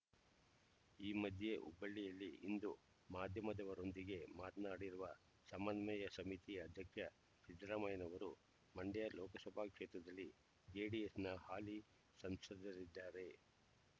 ಈ ಮಧ್ಯೆ ಹುಬ್ಬಳ್ಳಿಯಲ್ಲಿ ಇಂದು ಮಾಧ್ಯಮದವರೊಂದಿಗೆ ಮಾತನಾಡಿರುವ ಸಮನ್ವಯ ಸಮಿತಿ ಅಧ್ಯಕ್ಷ ಸಿದ್ದರಾಮಯ್ಯರವರು ಮಂಡ್ಯ ಲೋಕಸಭಾ ಕ್ಷೇತ್ರದಲ್ಲಿ ಜೆಡಿಎಸ್‌ನ ಹಾಲಿ ಸಂಸದರಿದ್ದಾರೆ